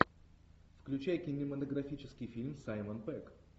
включай кинематографический фильм саймон пегг